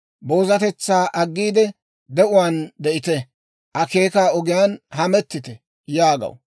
boozatetsaa aggiide, de'uwaan de'ite; akeekaa ogiyaan hamettite» yaagaw.